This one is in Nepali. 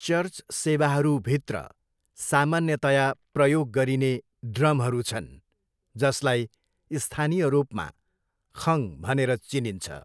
चर्च सेवाहरूभित्र सामान्यतया प्रयोग गरिने ड्रमहरू छन् जसलाई स्थानीय रूपमा, खङ भनेर चिनिन्छ।